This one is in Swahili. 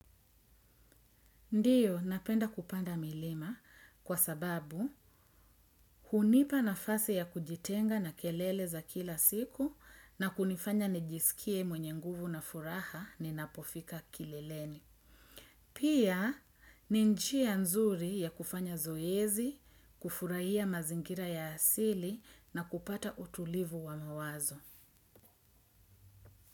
Ndiyo, napenda kupanda milima kwa sababu hunipa nafasi ya kujitenga na kelele za kila siku na kunifanya nijisikie mwenye nguvu na furaha ninapofika kileleni. Pia, ni njia nzuri ya kufanya zoezi, kufurahia mazingira ya asili na kupata utulivu wa mawazo.